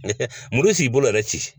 Muru si ki bolo yɛrɛ ci